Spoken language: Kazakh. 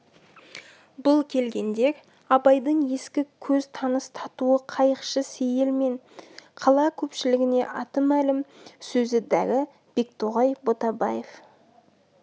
бұл келгендер абайдың ескі көз таныс татуы қайықшы сейіл мен қала көпшілігіне аты мәлім сөзі дәрі бектоғай ботабаев